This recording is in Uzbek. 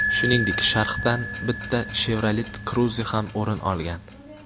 Shuningdek, sharhdan bitta Chevrolet Cruze ham o‘rin olgan.